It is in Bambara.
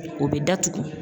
O bɛ datugu.